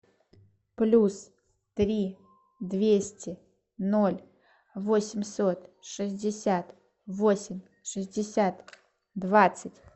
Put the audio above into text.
плюс три двести ноль восемьсот шестьдесят восемь шестьдесят двадцать